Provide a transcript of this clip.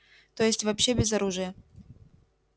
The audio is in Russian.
то есть вообще без оружия